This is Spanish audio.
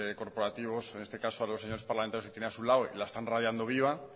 corporativos en este caso a los señores parlamentarios que tenía a su lado la están radiando viva